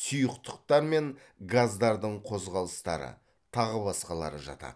сұйықтықтар мен газдардың қозғалыстары тағы басқалары жатады